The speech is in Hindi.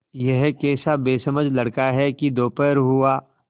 यह कैसा बेसमझ लड़का है कि दोपहर हुआ